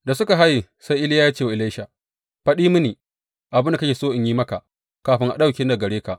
Da suka haye, sai Iliya ya ce wa Elisha, Faɗi mini, abin da kake so in yi maka kafin a ɗauke ni daga gare ka!